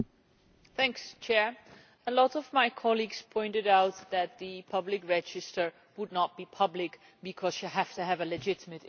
Mr President, many of my colleagues pointed out that the public register would not be public' because you have to have a legitimate interest.